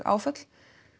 áföll